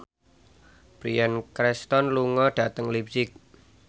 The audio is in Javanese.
Bryan Cranston lunga dhateng leipzig